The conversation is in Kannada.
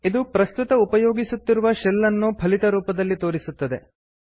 ಇದು ಪ್ರಸ್ತುತ ಉಪಯೋಗಿಸುತ್ತಿರುವ ಶೆಲ್ ಅನ್ನು ಫಲಿತ ರೂಪದಲ್ಲಿ ತೋರಿಸುತ್ತದೆ